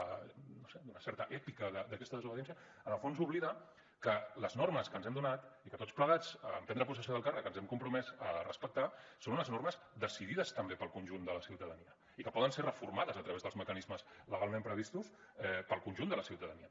no ho sé d’una certa èpica d’aquesta desobediència en el fons oblida que les normes que ens hem donat i que tots plegats en prendre possessió del càrrec ens hem compromès a respectar són unes normes decidides també pel conjunt de la ciutadania i que poden ser reformades a través dels mecanismes legalment previstos pel conjunt de la ciutadania